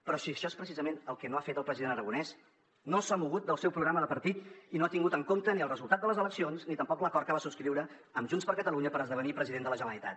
però si això és precisament el que no ha fet el president aragonès no s’ha mogut del seu programa de partit i no ha tingut en compte ni el resultat de les eleccions ni tampoc l’acord que va subscriure amb junts per catalunya per esdevenir president de la generalitat